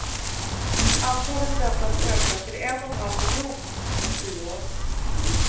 Antalet väntas öka till en och en halv miljon inom tio år.